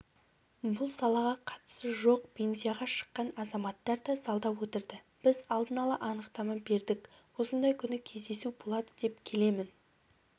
бұл салаға қатысы жоқ пенсияға шыққан азаматтар да залда отырды біз алдын ала анықтама бердік осындай күні кездесу болады деп келемін